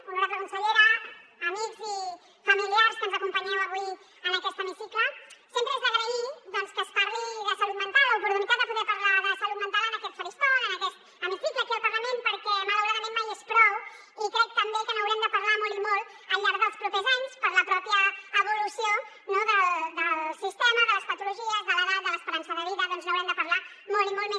honorable consellera amics i familiars que ens acompanyeu avui en aquest hemicicle sempre és d’agrair doncs que es parli de salut mental l’oportunitat de poder parlar de salut mental en aquest faristol en aquest hemicicle aquí al parlament perquè malauradament mai és prou i crec també que n’haurem de parlar molt i molt al llarg dels propers anys per la mateixa evolució no del sistema de les patologies de l’edat de l’esperança de vida doncs n’haurem de parlar molt i molt més